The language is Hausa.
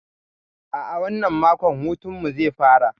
A'a, wannan mako hutun mu zai fara.